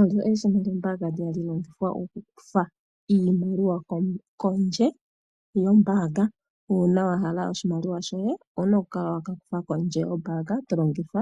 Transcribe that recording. Olyo eshina lyombaanga ndi hali longithwa okukutha iimaliwa kondje yombaanga. Uuna wahala oshimaliwa shoye owuna okukala wakakutha kondje yombaanga tolongitha